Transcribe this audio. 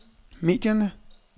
medierne